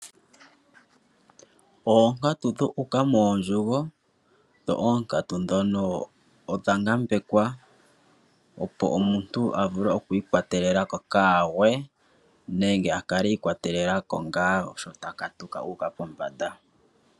Onkatu dhoku uka mondjugo nonkatu dhono odha nambekwa ipo omuntu avule oku ikwatelela ko ka gwe nenge akale ikwa telelako nga sho taka tuka uka pombanda.